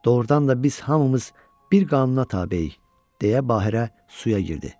Doğrudan da biz hamımız bir qanına tabeyik, deyə Bahirə suya girdi.